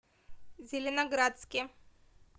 зеленоградске